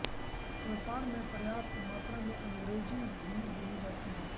व्यापार में पर्याप्त मात्रा में अंग्रेज़ी भी बोली जाती है